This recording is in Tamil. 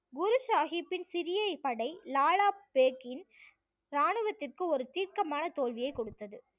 குரு சாஹிப்பின் சிறிய படை லாலா பேக்கின் இராணுவத்திற்கு ஒரு தீர்க்கமான தோல்வியை கொடுத்தது